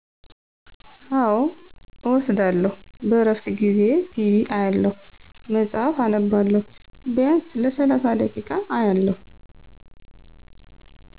አዎ እወስዳለሁ -በእረፍት ጊዜየ ቲቢ አያለሁ፣ መፅሐፍ አነባለሁ። ቢያንስ ለሰላሣ ደቂቃ ኦአያለሁ።